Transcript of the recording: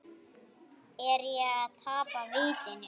Er ég að tapa vitinu?